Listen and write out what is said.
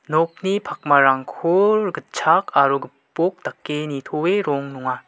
nokni pakmarangko gitchak aro gipok dake nitoe rong nonga.